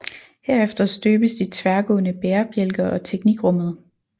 Herefter støbes de tværgående bærebjælker og teknikrummet